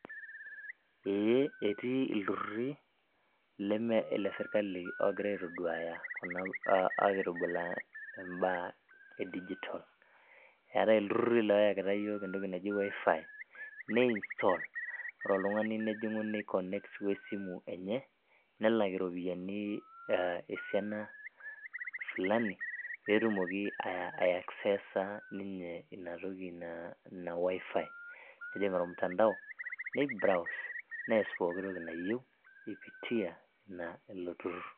eeh, etii ilturruri leme ilesirkali ogira aitoduaya kuna, aitoduaya imbaa e digital eetae ilturruri loyakita yiok entoki naji wifi ne install ore oltung'ani ojing'u nei connect wesimu enye nelak iropiyiani esiana fulani peyie etumoki ae aksesa ninye ina toki ina wifi nejing ormtandao nei browse nees poki toki nayieu ipitia ilo turrur.